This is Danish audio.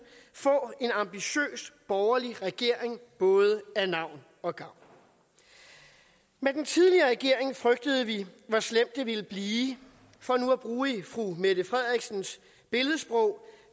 få en ambitiøs borgerlig regering både af navn og af gavn med den tidligere regering frygtede vi hvor slemt det ville blive for nu at bruge fru mette frederiksens billedsprog